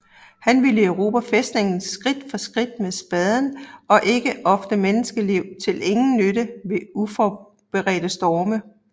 Han ville erobre fæstningen skridt for skridt med spaden og ikke ofre menneskeliv til ingen nytte ved uforberedte storme